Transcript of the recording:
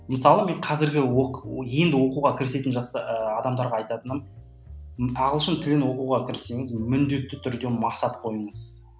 мысалы мен қазіргі енді оқуға кірісетін адамдарға айтатыным ағылшын тілін оқуға кіріссеңіз міндетті түрде мақсат қойыңыз